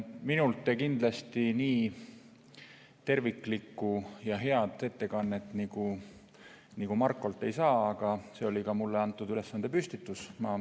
Minult te kindlasti nii terviklikku ja head ettekannet nagu Markolt ei saa, aga selliselt oli mulle antud ülesanne püstitatud.